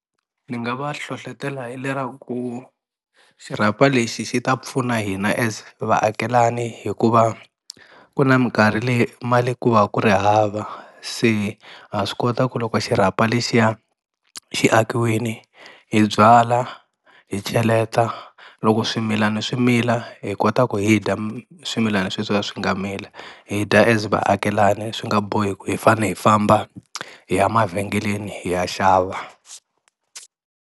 Ni nga va hlohlotela hi leraku xirhapa lexi xi ta pfuna hina as vaakelani hikuva ku na minkarhi leyi mali ku va ku ri hava se ha swi kota ku loko xirhapa lexiya xi akiwini hi byala hi cheleta loko swimilana swi mila hi kota ku hi dya swimilana sweswiya swi nga mila hi dya as vaakelani swi nga bohi ku hi fanele hi famba hi ya mavhengeleni hi ya xava.